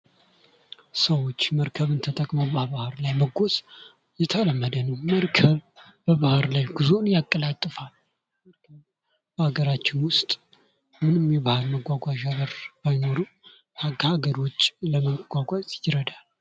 ሰዎች መርከብን ተጠቅመው በባህር ላይ መጓዝ የተለመደ ነው። መርከብ የባህር ላይ ጉዞን ያቀላጥፋል። በሀገራችን ውስጥ ምንም የባህር መጓጓዣ በር ባይኖርም ከሀገር ውጭ ለማጓጓዝ ይረዳል።